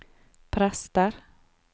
prester